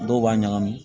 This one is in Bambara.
Dɔw b'a ɲagami